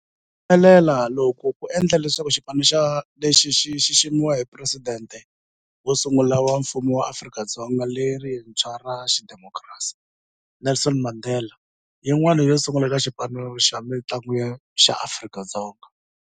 Ku humelela loku ku endle leswaku xipano lexi xi xiximiwa hi Presidente wo sungula wa Mfumo wa Afrika-Dzonga lerintshwa ra xidemokirasi, Nelson Mandela-yin'wana yo sungula eka xipano xa mitlangu xa Afrika-Dzonga.